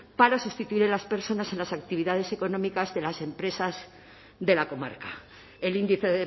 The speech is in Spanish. para sustituir a las personas en las actividades económicas de las empresas de la comarca el índice